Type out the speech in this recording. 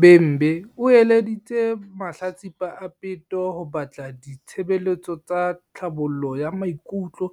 Bhembe o eleditse mahlatsipa a peto ho batla di-tshebeletso tsa tlhabollo ya maikutlo